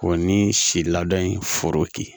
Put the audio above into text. O ni si ladon foro kɛ